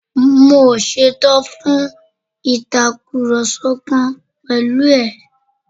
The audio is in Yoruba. Mi ò ṣetán fún Ìtàkùrọ̀sọ kankan pẹ̀lú ẹ̀